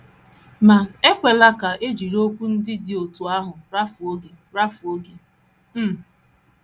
Ma, ekwela ka e jiri okwu ndị dị otú ahụ rafuo gị! rafuo gị! um